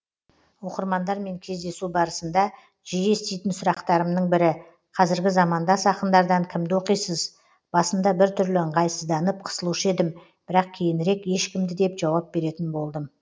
оқырмандармен кездесу барысында жиі еститін сұрақтарымның бірі қазіргі замандас ақындардан кімді оқисыз басында бір түрлі ыңғайсызданып қысылушы едім бірақ кейінірек ешкімді деп жауап беретін болдым